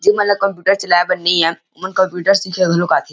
जे मन ल कम्प्यूटर चलाये बर नइ आए ओ मन कंप्यूटर सीखे घलोक आथे ।